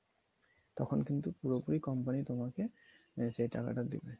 তখন কিন্তু পুরো পুরি company তোমাকে সে টাকাটা দিবে